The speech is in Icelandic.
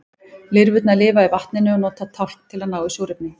lirfurnar lifa í vatninu og nota tálkn til að ná í súrefni